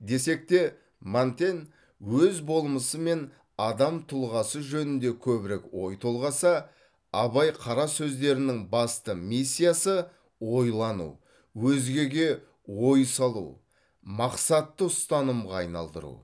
десек те монтень өз болмысы мен адам тұлғасы жөнінде көбірек ой толғаса абай қара сөздерінің басты миссиясы ойлану өзгеге ой салу мақсатты ұстанымға айналдыру